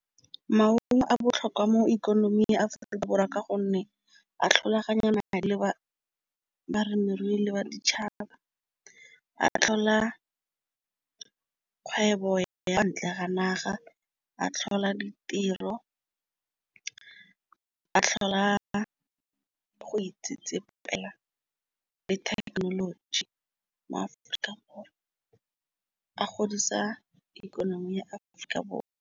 maungo a botlhokwa mo ikonoming ya Aforika Borwa ka gonne a tlhaloganyana le balemirui le ba ditšhaba. A tlhola kgwebo ya ntle ga naga a tlhola ditiro. A tlhola go itsetsepela le technology mo-Aforika Borwa a godisa ikonomi ya Aforika Borwa.